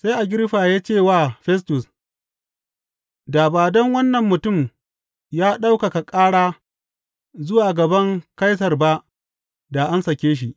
Sai Agiriffa ya ce wa Festus, Da ba don wannan mutum ya ɗaukaka ƙara zuwa gaban Kaisar ba da an sake shi.